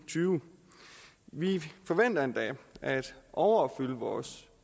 og tyve vi forventer endda at overopfylde vores